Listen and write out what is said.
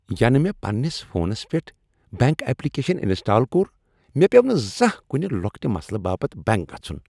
ینہٕ مےٚ پننس فونس پیٹھ بینک اپلکیشن انسٹال کوٚر، مےٚ پیو٘و نہٕ زانہہ کُنِہ لۄکٹہِ مسلہٕ باپت بینک گژُھن۔